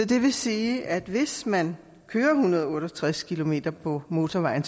det vil sige at hvis man kører en hundrede og otte og tres kilometer på motorvejen